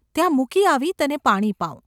ત્યાં મૂકી આવી તને પાણી પાઉં.